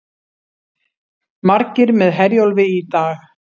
Margir með Herjólfi í dag